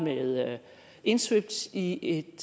indsvøbt i et